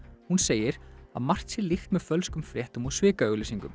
hún segir að margt sé líkt með fölskum fréttum og